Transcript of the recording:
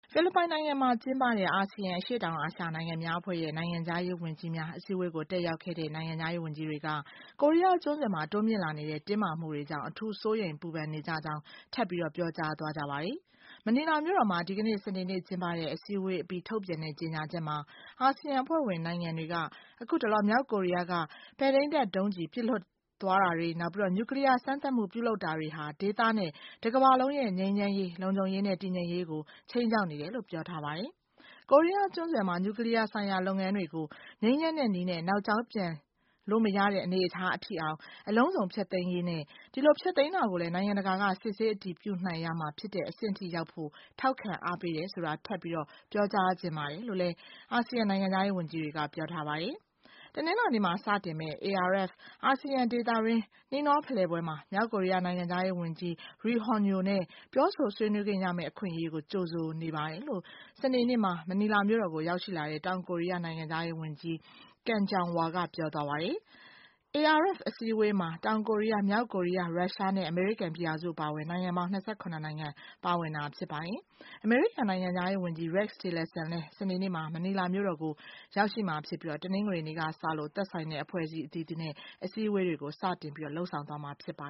ဖိလစ်ပိုင်နိုင်ငံမှာ ကျင်းပတဲ့ ASEAN အရှေ့တောင်အာရှနိုင်ငံများအဖွဲ့ရဲ့ နိုင်ငံခြားရေးဝန်ကြီးများ အစည်းအဝေးကို တက်ရောက်တဲ့ နိုင်ငံခြားရေးဝန်ကြီးတွေက ကိုရီးယားကျွန်းဆွယ်မှာ တိုးမြင့်လာနေတဲ့ တင်းမာမှုတွေကြောင့် အထူးစိုးရိမ်ပူပန်နေကြကြောင်း ထပ်ပြီးပြောကြားသွားကြပါတယ်။ မနီလာမြို့တော်မှာ ဒီကနေ့ စနေနေ့ ကျင်းပတဲ့ အစည်းအဝေးအပြီးထုတ်ပြန်တဲ့ ကြေငြာချက်မှာ ASEAN အဖွဲ့ဝင်နိုင်ငံတွေက အခုတလော မြောက်ကိုရီယားက ပဲ့ထိန်းတပ်ဒုံးကျဉ် ပစ်လွှတ်သွားတာတွေ nuclear စမ်းသပ်မှု ပြုလုပ်တာတွေဟာ ဒေသနဲ့ တကမ္ဘာလုံးရဲ့ ငြိမ်းချမ်းရေး လုံခြုံရေးနဲ့ တည်ငြိမ်ရေးကို ခြိမ်းခြောက်နေတယ်လို့ ပြောထားပါတယ်။ ကိုရီးယားကျွန်းဆွယ်မှာ nuclear ဆိုင်ရာ လုပ်ငန်းတွေကို ငြိမ်းချမ်းတဲ့ နည်းနဲ့ နောက်ကြောင်းပြန်လို့ မရတဲ့ အနေအထားအထိ - အလုံးစုံဖျက်သိမ်းရေးနဲ့ ဒီလို ဖျက်သိမ်းတာကိုလည်း နိုင်ငံတကာက စစ်ဆေးအတည်ပြုနိုင်ရမှာ ဖြစ်တဲ့အဆင့်ထိရောက်ဖို့ ထောက်ခံအားပေးတယ်ဆိုတာ ထပ်မံပြောကြားချင်ပါတယ်လို့ ASEAN နိုင်ငံခြားရေးဝန်ကြီးတွေက ပြောထားပါတယ်။ တနင်္လာနေ့မှာ စတင်မယ့် ARF - ASEAN ဒေသတွင်း နှီးနှောဖလှယ်ပွဲမှာ မြောက်ကိုရီးယား နိုင်ငံခြားရေးဝန်ကြီး Ri Hong-Yo နဲ့ ပြောဆိုဆွေးနွေးခွင့်ရမယ့် အခွင့်အရေးကို ကြိုဆိုနေပါတယ်လို့ စနေနေ့မှာ မနီလာမြို့တော်ကို ရောက်ရှိလာတဲ့ တောင်ကိုရီးယား နိုင်ငံခြားရေးဝန်ကြီး Kang Kyung-Wha က ပြောသွားပါတယ်။ ARF အစည်းအဝေးမှာ တောင်ကိုရီးယား မြောက်ကိုရီးယား Russia နဲ့ အမေရိကန်ပြည်ထောင်စု အပါအဝင် နိုင်ငံပေါင်း ၂၇ နိုင်ငံ ပါဝင်တာ ဖြစ်ပါတယ်။ အမေရိကန် နိုင်ငံခြားရေးဝန်ကြီး Rex Tillerson လည်း စနေနေ့မှာ မနီလာမြို့တော်ကို ရောက်ရှိမှာ ဖြစ်ပြီး တနင်္ဂနွေနေ့က စလို့ သက်ဆိုင်တဲ့ အဖွဲ့ အသီးသီးနဲ့ အစည်းအဝေးတွေ စတင် လုပ်ဆောင်သွားမှာ ဖြစ်ပါ